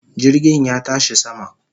Jirgin ya tashi sama